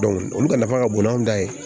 olu ka nafa ka bon n'an ta ye